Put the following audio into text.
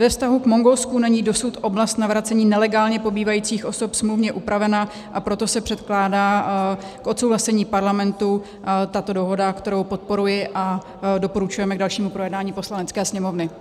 Ve vztahu k Mongolsku není dosud oblast navracení nelegálně pobývajících osob smluvně upravena, a proto se předkládá k odsouhlasení Parlamentu tato dohoda, kterou podporuji, a doporučujeme k dalšímu projednání Poslanecké sněmovny.